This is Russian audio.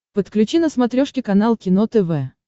подключи на смотрешке канал кино тв